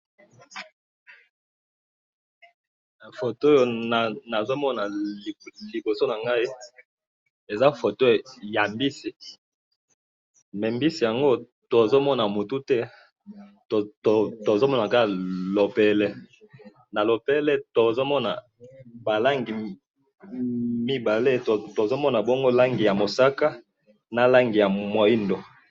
Nazomona liboso na nga photo ya mbisi mbisi yango tozomono mutu te tozomona kaka lopele na lopele tozo mona ba langi mibale ya mosaka na langi ya moindo,